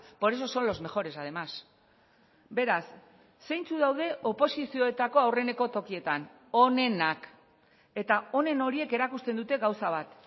por eso son los mejores además beraz zeintzuk daude oposizioetako aurreneko tokietan onenak eta onen horiek erakusten dute gauza bat